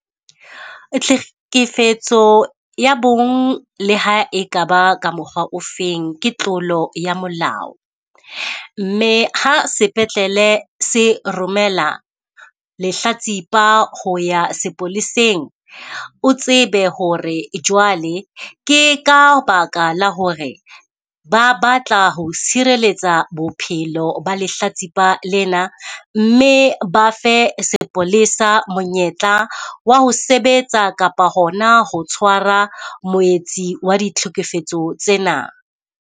Tlhekefetso ya bong le ha ekaba ka mokgwa o feng ke tlolo ya molao. Mme ha sepetlele se romela lehlatsipa ho ya sepoleseng, o tsebe ho re jwale ke ka baka la ho re ba batla ho sireletsa bophelo ba lehlatsipa lena. Mme ba fe sepolesa monyetla wa ho sebetsa kapa hona ho tshwara moetsi wa ditlhekefetso tsena.